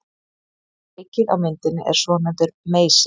Tækið á myndinni er svonefndur meysir.